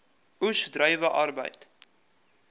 oes druiwe arbeid